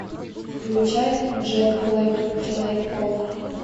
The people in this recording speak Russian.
включай джек блэк человек паук